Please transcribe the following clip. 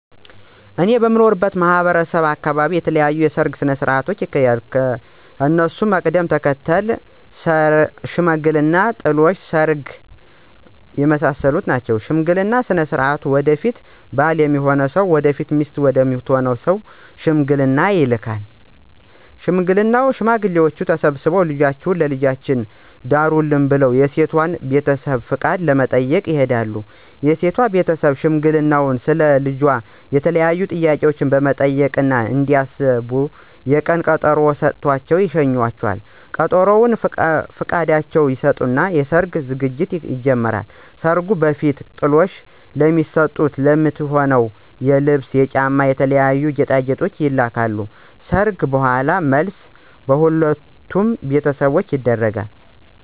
እኔ በምኖርበት ማህበረሰብ አካበቢ የተለያዩ የሰርግ ስነ ሥርዓቶች ይካሄዳሉ። እነሱም እስከ ቅደም ተከተላቸው ሽምግልና፣ ጥሎሽ፣ ሰርግ እና መልስ ናቸው። በሽምግልና ስነ ሥርዓት ወደፊት ባል ሚሆነው ሰው ወደፊት ሚስቱ ሊያደርጋት ከወደደው እና መደሚያገባት ሴት ቤተሰቦች በአከባቢው የሚገኙ ሽማግሌዎችን ሰብስቦ ልጃችሁን ለልጃችን ዳሩልን ብለው የሴትን ቤተሰቦች ፍቃድ ለመጠየቅ ይልካል። የሴት ቤተሰብም ሽማግሌዎቹን ስለ ልጁ የተለያዩ ጥያቄዎችን በመጠየቅ እና እንዲያስቡበት የቀን ቀጠሮ ሰጥተው ይሸኟቸዋል። በቀጠሮውም ፍቃዳቸውን ይሰጡና የሰርጉ ዝግጅት ይጀመራል። ከሰርጉ በፊትም ጥሎሽ ለሚስቱ ለምትሆነው የልብስ፣ የጫማ እና የተለያዩ ጌጣጌጦች ይልካል። ከሰርጉ በኋላም መልስ በሁለቱም ቤተሰቦች ይደረጋል።